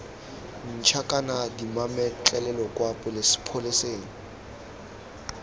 ntšha kana dimametlelelo kwa pholeseng